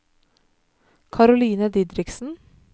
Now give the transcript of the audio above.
Karoline Didriksen